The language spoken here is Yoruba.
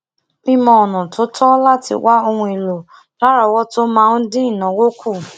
mimo ọnà to to lati wa ohun elo larowoto maa n din inawo ku